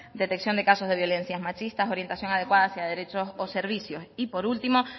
detección de casos de violencias machistas orientación adecuada hacia derechos o servicios y por último